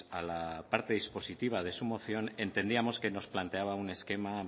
a la parte dispositiva de su moción entendíamos que nos planteaba un esquema